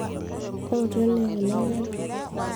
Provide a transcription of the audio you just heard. ootu ene kuna kera